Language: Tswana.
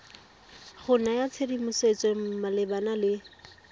go naya tshedimosetso malebana le